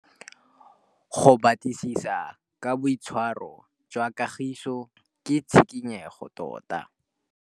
Go batlisisa ka boitshwaro jwa Kagiso kwa sekolong ke tshikinyêgô tota.